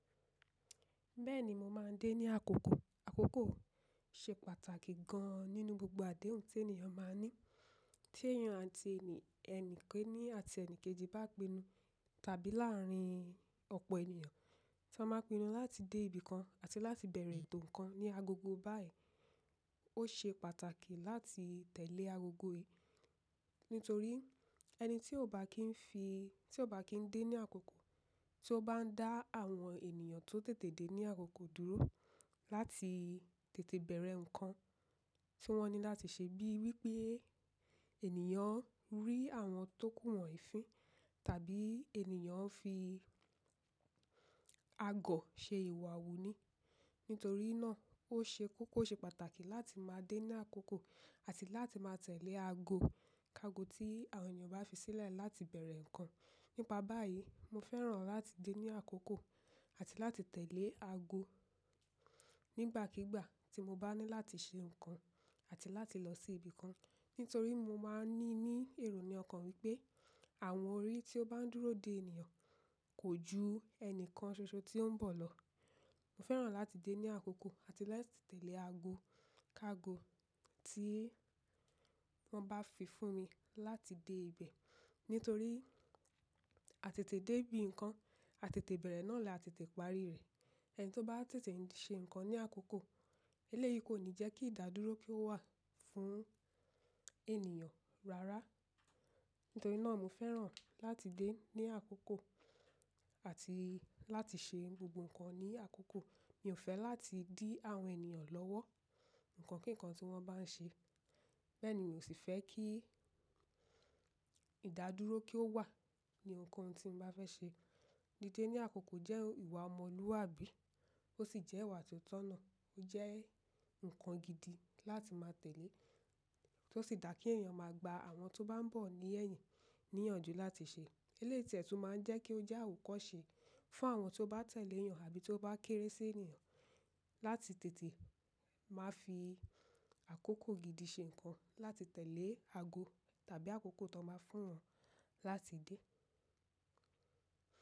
Bẹ́ẹ̀ni, mo máa ń dé ní àkókò. Àkókò ṣe pàtàkì gan nínú gbogbo àdéhùn tí ènìyàn máa ń ní. Tí ènìyàn àti ẹni, ẹni kẹ́ní àti ẹni kejì bá pinnu tàbí láàárín ọ̀pọ̀ ènìyàn tí wọ́n máa pinnu láti dé ibìkan àti láti bẹ̀rẹ̀ ètò ǹkan ní agogo báyìí. Ó ṣe pàtàkì láti tẹ̀lé agogo. Nítorí ẹni tí ó bá kín fi, tí ó bá kín dé ní àkókò, tí ó bá ń dá àwọn ènìyàn tó tètè dé ní àkókò dúró láti tètè bẹ̀rẹ̀ ǹkan tí wọ́n ní láti ṣe bíi wípé ènìyàn rí àwọn tókù wòn yí ìfin tàbí ènìyàn fi agọ̀ ṣe ìwà wòó ní. Nítorí náà ó ṣe kókó ṣe pàtàkì láti máa dé ní àkókò àti láti máa tẹ̀lé aago, kago tí àwọn ènìyàn bá fi sílẹ̀ láti bẹ̀rẹ̀ ǹkan. Nípa báyìí, mo fẹ́ràn láti dé ní àkókò àti láti tẹ̀lé aago nígbàkígbà tí mo bá ní láti ṣe ǹkan àti láti lọ sí ibìkan. Nítorí mo máa ń ní ní èrò ní ọkàn wípé àwọn orí tí ó bá ń dúró dé ènìyàn kò ju ẹnìkan ṣoṣo tí ó ń bọ̀ lọ. Mo fẹ́ràn láti dé ní àkókò àti láti tẹ̀lé aago, kago tí wọ́n bá fi fún mi láti dé ibẹ̀. Nítorí àtètè dé bí ǹkan, àtètè bẹ̀rẹ̀ náà là á tètè parí rẹ̀. Ẹni tí ó bá tètè ṣe ǹkan ní àkókò, eléyìí kò ní jẹ́ kí ìdádúró kí ó wà fún ènìyàn rárá. Nítorí náà mo fẹ́ràn láti dé ní àkókò àti láti ṣe gbogbo ǹkan ní àkókò. Mi ò fẹ́ láti dí àwọn ènìyàn lọ́wọ́ ǹkan kíǹkan tí wọ́n bá ń ṣe. Bẹ́ẹ̀ ni n ò sì fẹ́ kí ìdádúró kí ó wà ní ohun kan tí mo bá fẹ́ ṣe. Dídé ní àkókò jẹ́ ìwà ọmọlúwàbí ó sì jẹ́ ìwà tó tọ̀nà. Ó jẹ́ ǹkan gidi láti máa tẹ̀lé, tó sì dà kí ènìyàn máa gba àwọn tó bá ń bọ̀ ní ẹ̀yìn níyànjú láti ṣe. Elétè tún máa ń jẹ́ kí ó jẹ́ àwòkọ́ṣe fún àwọn tí ó bá tẹ̀lé ènìyàn àbí tó bá kéré sí ènìyàn. Láti tètè máa fi àkókò gidi ṣe ǹkan láti tẹ̀lé aago tàbí àkókò tí wọ́n bá fún wọn láti dé.